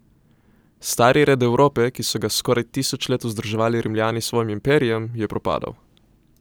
Stari red Evrope, ki so ga skoraj tisoč let vzdrževali Rimljani s svojim imperijem, je propadal.